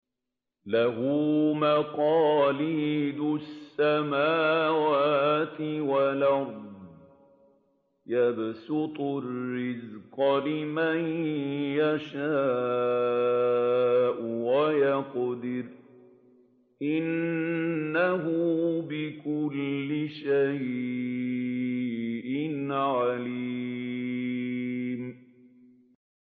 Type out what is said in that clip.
لَهُ مَقَالِيدُ السَّمَاوَاتِ وَالْأَرْضِ ۖ يَبْسُطُ الرِّزْقَ لِمَن يَشَاءُ وَيَقْدِرُ ۚ إِنَّهُ بِكُلِّ شَيْءٍ عَلِيمٌ